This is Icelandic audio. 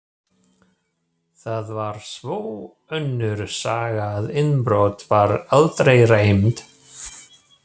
Það var svo önnur saga að innbrot var aldrei reynt.